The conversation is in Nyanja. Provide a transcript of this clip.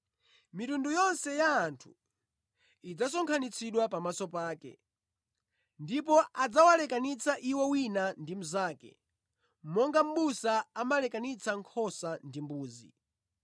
Mitundu yonse ya anthu idzasonkhanitsidwa pamaso pake, ndipo adzawalekanitsa iwo wina ndi mnzake monga mʼbusa amalekanitsa nkhosa ndi mbuzi.